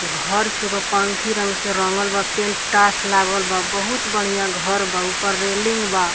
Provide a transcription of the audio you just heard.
घर सुबह पंखी रंग से रंगल बा पेंटास लागल बा बहुत बढ़िया घर बा ऊपर रेलिंग बा।